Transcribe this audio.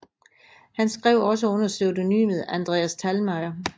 Han skrev også under pseudonymet Andreas Thalmayr